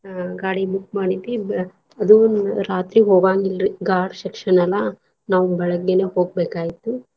ಅಹ್ ಗಾಡಿ book ಮಾಡಿದ್ವಿ ಅದು ರಾತ್ರಿ ಹೋಗಾಂಗಿಲ್ರಿ ghat section ಅಲ್ಲಾ ನಾವ್ ಬೆಳಗ್ಗೇನೇ ಹೋಗ್ಬೇಕಾಗೆತಿ.